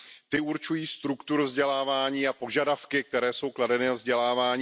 Ty určují strukturu vzdělávání a požadavky, které jsou kladeny na vzdělávání.